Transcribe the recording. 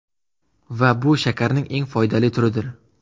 Va bu shakarning eng foydali turidir.